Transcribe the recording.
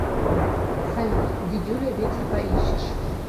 салют дидюля ветер поищешь